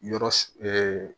Yɔrɔ